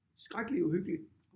Skrækkeligt uhyggeligt